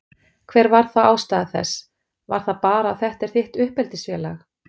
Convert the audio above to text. Hver var þá ástæða þess, var það bara að þetta er þitt uppeldisfélag?